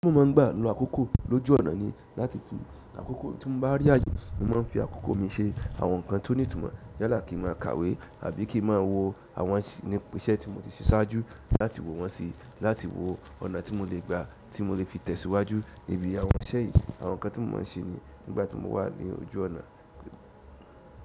Tí mo máa ń gbà lo àkókò lójú ọ̀nà ni láti tú àkókò tí mo bá rí àye, mo máa ń fi àkókò mi ṣe àwọn ǹkan tó ní ìtumọ̀ yálà kí ma kàwé àbí kí ma wo àwọn iṣẹ́ tí mo ti ṣe ṣáájú láti wo wọn sí i láti wo ọ̀nà tí mo lè gbà tí mo lè fi tẹ̀síwájú níbí àwọn iṣẹ́ yìí. Àwọn ǹkan tí mo ma ń sẹ ni nígbà tí mo wà ní ojú ọ̀nà.